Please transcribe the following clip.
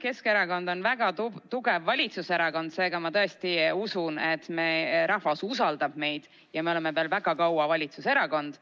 Keskerakond on väga tugev valitsuserakond, seega ma tõesti usun, et meie rahvas usaldab meid ja me oleme veel väga kaua valitsuserakond.